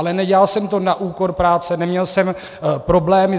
Ale nedělal jsem to na úkor práce, neměl jsem problémy.